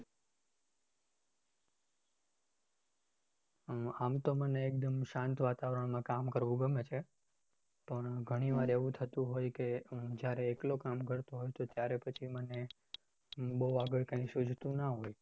હા આમ તો મને શાંત વાતાવરણમાં કામ કરવું ગમે છે પણ ઘણીવારે એવું થતું હોય કે જયારે એકલો કામ કરતો હોવ તો ત્યારે પછી મને બહુ આગળ મને કઈ શુજ્તું ના હોય